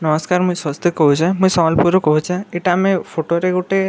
ନମସ୍କାର ମୁଁଇ ସ୍ୱସ୍ତିକ୍‌ କହୁଛେ ମୁଁ ସମ୍ବଲପୁରରୁ କହୁଛେ ଇଟା ଆମେ ଫଟୋରେ ଗୁଟେ--